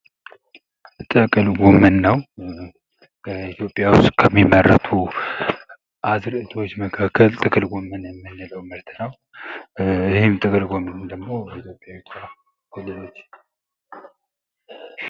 ጥቅል ጎመን ነው ፤ ኢትዮጵያ ዉስጥ ከሚመረቱ አዝእርቶች መካከል ጥቅል ጎመን የምንለው ምርት ነው።